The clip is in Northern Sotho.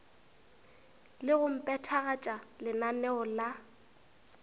le go phethagatša lenaneo la